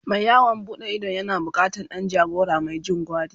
Mai yawon buɗe idon yana bukatan Dan jagora Mai Jin gwari